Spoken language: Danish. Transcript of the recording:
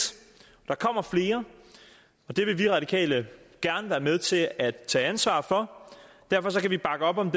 der kommer flere og det vil vi radikale gerne være med til at tage ansvar for derfor kan vi bakke op om